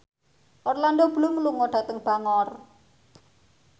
Orlando Bloom lunga dhateng Bangor